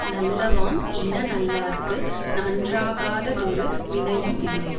நல்லவாம் இன நல்லார்க்கு நன்றாகாத தொரு வினையும் இல்லை